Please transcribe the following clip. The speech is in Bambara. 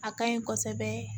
A ka ɲi kosɛbɛ